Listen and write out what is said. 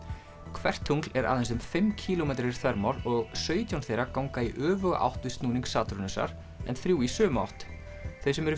hvert tungl er aðeins um fimm kílómetrar í þvermál og sautján þeirra ganga í öfuga átt við snúning Satúrnusar en þrjú í sömu átt þau sem eru